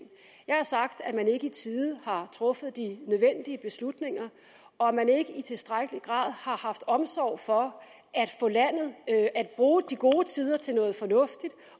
jeg har sagt at man ikke i tide har truffet de nødvendige beslutninger og at man ikke i tilstrækkelig grad har haft omsorg for at bruge de gode tider til noget fornuftigt